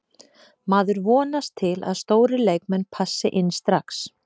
Maður vonast til að stórir leikmenn passi inn strax.